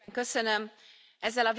A vitát lezárom.